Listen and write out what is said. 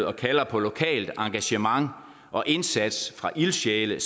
og kalder på lokalt engagement og indsats fra ildsjæle